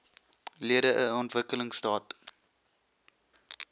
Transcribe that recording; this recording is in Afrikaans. lede n ontwikkelingstaat